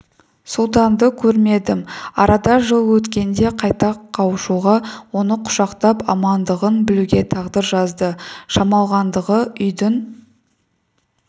сұлтанды көрмедім арада жыл өткенде қайта қауышуға оны құшақтап амандығын білуге тағдыр жазды шамалғандағы үйдің